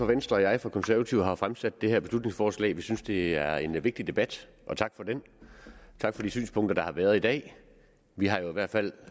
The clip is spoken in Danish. venstre og jeg fra konservative har fremsat det her beslutningsforslag vi synes det er en vigtig debat og tak for den tak for de synspunkter der har været i dag vi har jo i hvert fald